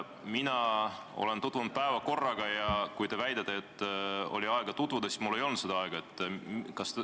Mina olen tutvunud päevakorraga ja kui te väidate, et oli aega tutvuda, siis mina väidan, et mul ei olnud seda aega.